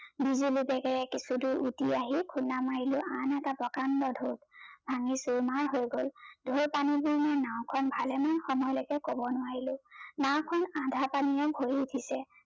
কিছু দূৰ উটি আহি খুন্দা মাৰিলু আন এটা প্ৰকাণ্ড ঢৌ ভাঙ্গি চুৰ মাৰ হৈ গল, ঢৌৰ পানী খিনি নাওখন ভালে মান সময়লৈকে কব নোৱাৰিলো, নাও খন আধা পানীৰে ভৰি পৰিছে।